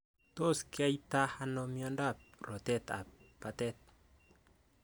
Tos kinyaitaa anoo miondoop rotet ap batet ?